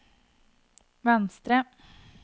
venstre